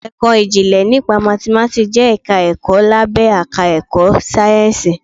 Ẹ̀kọ́ ìjìnlẹ̀ nípa Mathematics jẹ́ ẹ̀ka ẹ̀kọ́ lábé àká ẹ̀kọ́ sáyẹ́ǹsìì.